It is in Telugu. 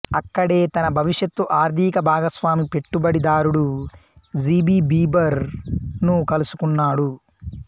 అక్కడే తన భవిష్యత్తు ఆర్ధిక భాగస్వామి పెట్టుబడిదారుడు జి బి జీబర్ ను కలుసుకున్నాడు